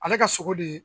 Ale ka sogo de